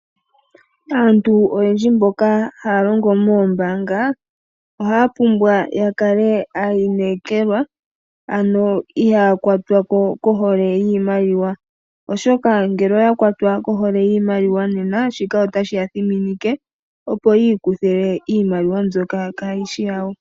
Aantu oyendji mboka haya longo moombaanga ohaya pumbwa ya kale aayinekelwa, ano ihaya kwatwa kohole yiimaliwa. Oshoka ngele oya kwatwa kohole yiimaliwa, nena shika otashi ya thiminike opo ya kuthe iimaliwa mbyoka kayi shi yawo.